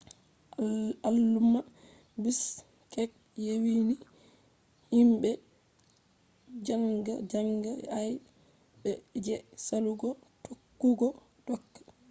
alumma bishkek yewini himbe zanga zanga aybe je salugo tokkugo doka